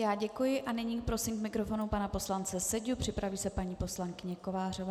Já děkuji a nyní prosím k mikrofonu pana poslance Seďu, připraví se paní poslankyně Kovářová.